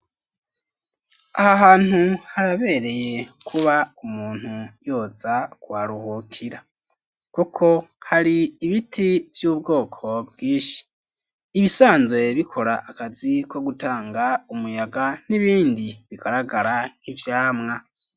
Aha hantu, harabereye kuba, umuntu yoza, kuharuhukira; kuko hari ibiti, vy'ubwoko bwinshi; ibisanzwe bikora akazi, ko gutanga umuyaga, n'ibindi bigaragara nk'ivyamwa.